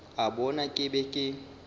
a bona ke be ke